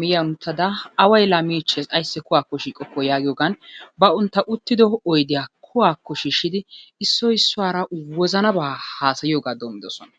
miyyiyan uttada away laa miichchees ayssi kuwaa shiiqokkoo giyogan bantta uttido oydiya kuwakko shiishshidi issoy issuwara wozanabaa haasayiyogaa doommidosona.